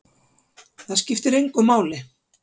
Það skiptir engu máli!